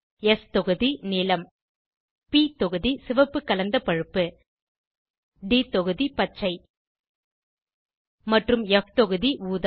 ஸ் தொகுதி - நீலம் ப் தொகுதி - சிவப்பு கலந்த பழுப்பு ட் தொகுதி - பச்சை மற்றும் ப் தொகுதி - ஊதா